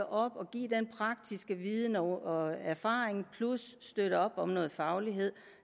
op og give den praktiske viden og erfaring plus støtte op om noget faglighed